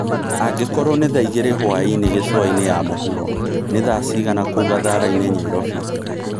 angĩkorwo ni thaa ĩgĩrĩ hwaĩnĩ gicũaĩnĩ ya mũhũro ni thaa cĩĩgana kũũ gatharaini Nyairobi